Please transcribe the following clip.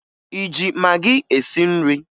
ị ji magị esi nri?